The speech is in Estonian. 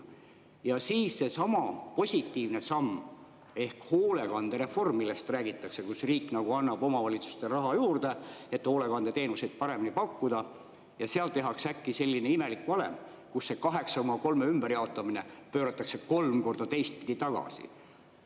Ja siis seesama positiivne samm ehk hoolekandereform, millest räägitakse – riik nagu annab omavalitsustele raha juurde, et hoolekandeteenuseid paremini pakkuda –, seal tehakse äkki selline imelik valem, kus see 8,3 ümberjaotamine pööratakse kolm korda teistpidi tagasi.